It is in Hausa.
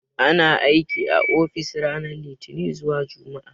Ana aiki a ofis ranar Litini zuwa Jumma'a.